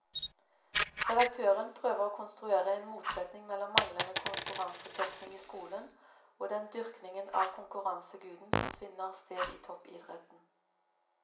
Redaktøren prøver å konstruere en motsetning mellom manglende konkurransetenkning i skolen og den dyrkningen av konkurranseguden som finner sted i toppidretten.